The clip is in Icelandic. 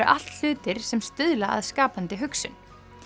allt hlutir sem stuðla að skapandi hugsun